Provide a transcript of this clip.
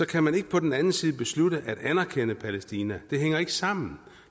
kan man ikke på den anden side beslutte at anerkende palæstina det hænger ikke sammen